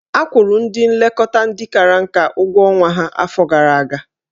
Akwụrụ ndị nlekọta ndị kara nka ụgwọ ọnwa ha afọ gara aga.